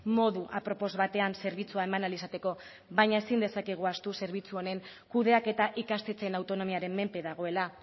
modu apropos batean zerbitzua eman ahal izateko baina ezin dezakegu ahaztu zerbitzu honen kudeaketa ikastetxeen autonomiaren menpe dagoela